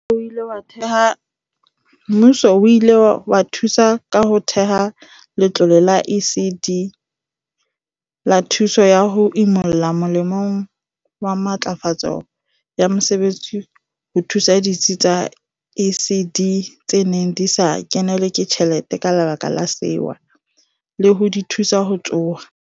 Mmuso o ile wa thusa ka ho theha Letlole la ECD la Thuso ya ho Imolla molemong wa Matlafatso ya Mosebetsi ho thusa ditsi tsa ECD tse neng di sa kenelwe ke tjhelete ka lebaka la sewa, le ho di thusa ho tsoha.